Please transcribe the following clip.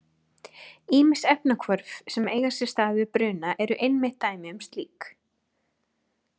Ýmis efnahvörf sem eiga sér stað við bruna eru einmitt dæmi um slíkt.